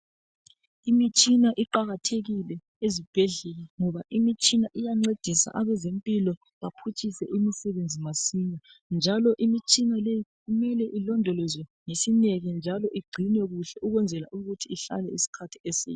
Imitshina iqakathekile ezibhedlela ngoba imitshina iyancedisa abezempilo baphutshise imisebenzi masinya, njalo imitshina le kumele ilondolozwe ngesineke njalo igcinwe kuhle ukwenzela ukuthi ihlale isikhathi eside.